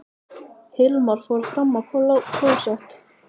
Hilmar fór fram á klósett.